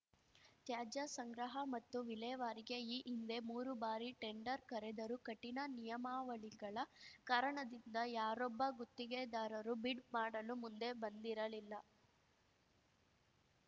ತ್ಯಾಜ್ಯ ಸಂಗ್ರಹ ಮತ್ತು ವಿಲೇವಾರಿಗೆ ಈ ಹಿಂದೆ ಮೂರು ಬಾರಿ ಟೆಂಡರ್ ಕರೆದರೂ ಕಠಿಣ ನಿಯಮಾವಳಿಗಳ ಕಾರಣದಿಂದ ಯಾರೊಬ್ಬ ಗುತ್ತಿಗೆದಾರರೂ ಬಿಡ್‌ ಮಾಡಲು ಮುಂದೆ ಬಂದಿರಲಿಲ್ಲ